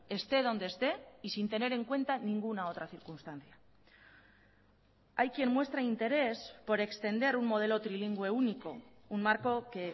esté donde esté y sin tener en cuenta ninguna otra circunstancia hay quien muestra interés por extender un modelo trilingüe único un marco que